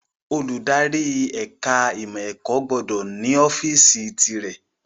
Olùdarí ẹ̀ka ìmọ̀ ẹ̀kọ́ gbọ́dọ̀ ní ọ́fíìsì tìrẹ